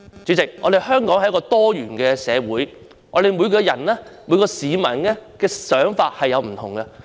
主席，香港是一個多元社會，每個市民的想法各有不同。